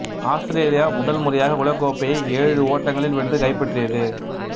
Australia முதல் முறையாக உலகக் கோப்பையை ஏழு ஓட்டங்களில் வென்று கைப்பற்றியது